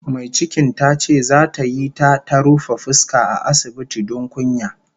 Mai cikin tace zata yi ta ta rufe fuska a asibiti don kunya